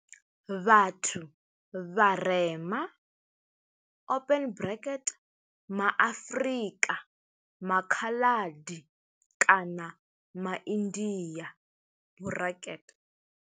Vhathu vharema ma Afrika, MA Khaladi kana MA India.